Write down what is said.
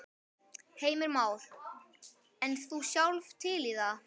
Heimir Már: En þú sjálf til í það?